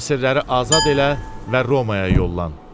əsirləri azad elə və Romaya yollan.